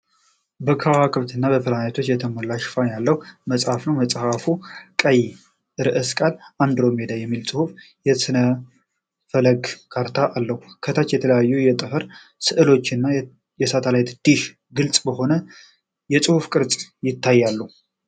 በከዋክብት እና በፕላኔቶች የተሞላ ሽፋን ያለው መጽሐፍ ነው። መጽሐፉ ቀይ አርዕስተ ቃል "አንድሮሜዳ" የሚል ጽሑፍና የጥንት ሥነ-ፈለክ ካርታ አለው። ከታች የተለያዩ የጠፈር ሥዕሎች እና የሳተላይት ዲሽ ግልጽ በሆነ የጽሑፍ ቅርጽ ይታያሉ።